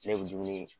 Ne kun dumuni